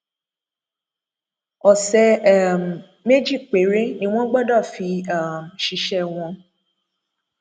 ọsẹ um méjì péré ni wọn gbọdọ fi um ṣiṣẹ wọn